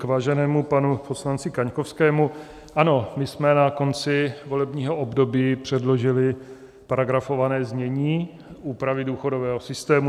K váženému panu poslanci Kaňkovskému: Ano, my jsme na konci volebního období předložili paragrafované znění úpravy důchodového systému.